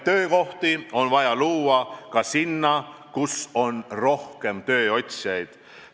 Töökohti on vaja luua ka sinna, kus on rohkem tööotsijaid.